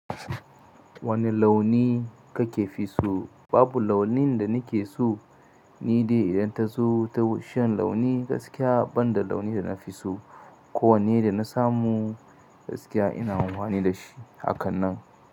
Wane launi kake fiso? Babu launin da nike su, ni dai idan ta zo ta bishiyan launi gaskiya banda launi da na fi so. Ko wanne da na samu gaskiya ina amfani da shi a kan nan.